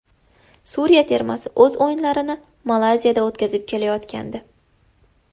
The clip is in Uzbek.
Suriya termasi o‘z o‘yinlarini Malayziyada o‘tkazib kelayotgandi.